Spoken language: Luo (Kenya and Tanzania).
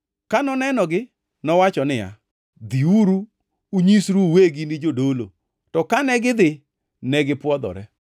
Ka nonenogi, nowacho niya, “Dhiuru, unyisru uwegi ni jodolo.” To kane gidhi, negipwodhore.